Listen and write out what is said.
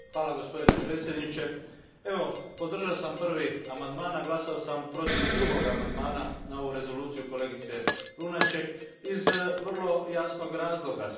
Gospodine predsjedniče, podržao sam prvi amandman, a glasao sam protiv drugog amandmana na ovu rezoluciju kolegice Lunacek, iz vrlo jasnog razloga.